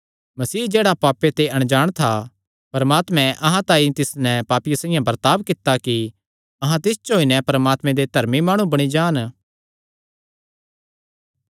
मसीह जेह्ड़ा पापे ते अणजाण था परमात्मे अहां तांई तिस नैं पापिये साइआं बर्ताब कित्ता कि अहां तिस च होई नैं परमात्मे दे धर्मी माणु बणी जान